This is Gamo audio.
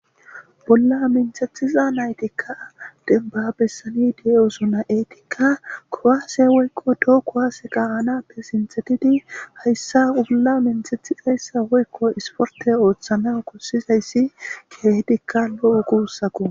Bolla minthethiza naytikka denbabesani di7osuna eetikka kowaase woykko too kuhase qa anappe sintetidi hayssa bolla minthethizayssa woykko isporte ooththana kussizayssi keehidikka lo7u kuussaku.